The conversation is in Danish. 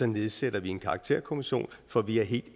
nedsætter vi en karakterkommission for vi er helt